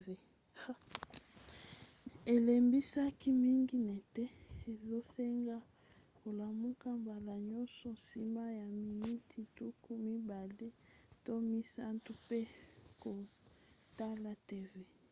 elembisaka mingi neti ezosenga olamuka mbala nyonso nsima ya miniti tuku mibale to misato mpe kotala tv